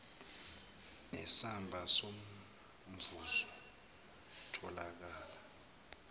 nesamba somvuzo owatholakala